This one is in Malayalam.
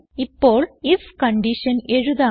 ഇപ്പോൾ ഐഎഫ് കൺഡിഷൻ എഴുതാം